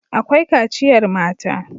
Akwai kaciyar mata.